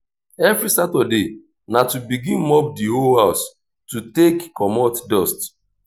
evri saturday na to begin mop di whole house to take comot dust